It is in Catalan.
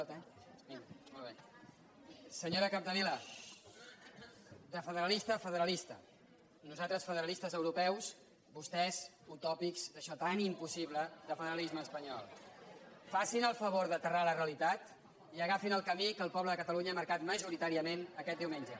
senyora capdevila de federalista a federalista nosaltres federalistes europeus vostès utòpics d’això tan impossible del federalisme espanyol facin el favor d’aterrar a la realitat i agafin el camí que el poble de catalunya ha marcat majoritàriament aquest diumenge